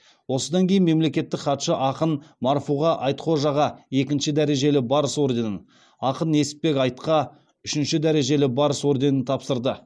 осыдан кейін мемлекеттік хатшы ақын марфуға айтхожаға екінші дәрежелі барыс орденін ақын несіпбек айтқа үшінші дәрежелі барыс орденін тапсырды